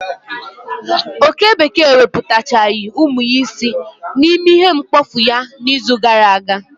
Oke bekee wepụtaghachi umu ya isii na ime ihe mkpofu ya na izu ka gara aga